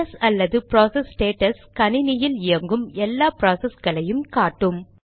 PS அல்லது process status கணினியில் இயங்கும் எல்லா ப்ராசஸ்களையும் காட்டும்